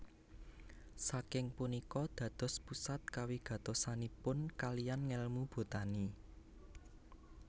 Saking punika dados pusat kawigatosanipun kalihan ngèlmu botani